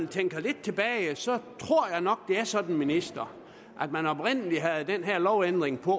tænker lidt tilbage så tror jeg nok det er sådan ministeren at man oprindelig havde den her lovændring på